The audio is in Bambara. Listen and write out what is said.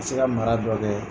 se ka mara dɔ kɛ.